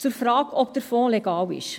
Zur Frage, ob der Fonds legal ist: